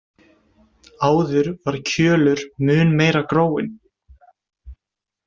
Áður var Kjölur mun meira gróinn.